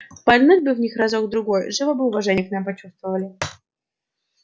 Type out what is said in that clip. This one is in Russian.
пальнуть бы в них разок другой живо бы уважение к нам почувствовали